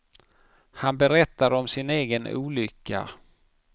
Han berättar om sin egen olycka.